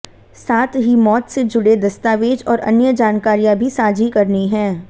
साथ ही मौत से जुड़े दस्तावेज और अन्य जानकारियां भी साझी करनी है